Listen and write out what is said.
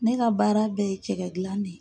Ne ka baara bɛɛ ye cɛkɛ gilan ne ye.